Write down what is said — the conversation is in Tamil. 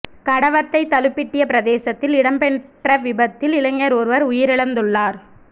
கடவத்தை தலுபிட்டிய பிரதேசத்தில் இடம்பெற்ற விபத்தில் இளைஞர் ஒருவர் உயிரிழந்துள்ளார்